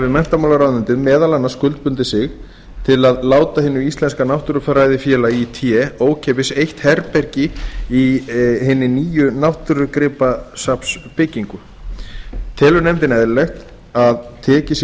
menntamálaráðuneytið meðal annars skuldbundið sig til að láta hinu íslenska náttúrufræðifélagi í té ókeypis eitt herbergi í hinni nýju náttúrugripasafnsbyggingu telur nefndin eðlilegt að tekið sé